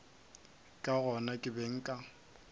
ka gona ke be nka